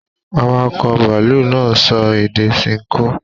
Àwàkọ̀ bàálù náà sọ èdè Sinko.